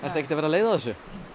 ekkert að verða leið á þessu